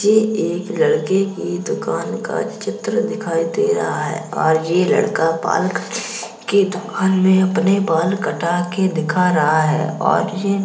ये एक लड़के की दुकान का चित्र दिखाई दे रहा है और ये लड़का बाल के दुकान में अपने बाल कटा के दिखा रहा है और ये --